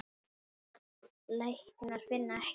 Læknar finna ekkert.